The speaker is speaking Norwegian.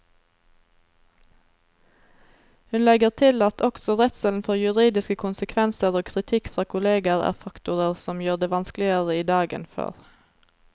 Hun legger til at også redselen for juridiske konsekvenser og kritikk fra kolleger er faktorer som gjør det vanskeligere i dag enn før.